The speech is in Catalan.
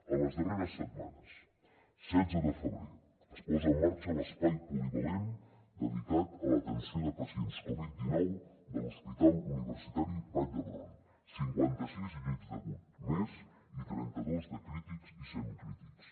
en les darreres setmanes setze de febrer es posa en marxa l’espai polivalent dedicat a l’atenció de pacients covid dinou de l’hospital universitari vall d’hebron cinquanta sis llits d’agut més i trenta dos de crítics i semicrítics